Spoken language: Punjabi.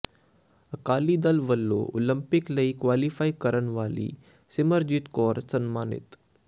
ਅਕਾਲੀ ਦਲ ਵੱਲੋਂ ਉਲੰਪਿਕ ਲਈ ਕੁਆਲੀਫਾਈ ਕਰਨ ਵਾਲੀ ਸਿਮਰਜੀਤ ਕੌਰ ਸਨਮਾਨਿਤ